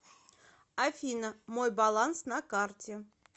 афина мой баланс на карте